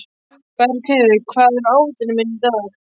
Bergheiður, hvað er á áætluninni minni í dag?